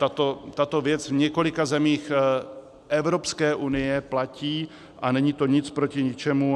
Tato věc v několika zemích Evropské unie platí a není to nic proti ničemu.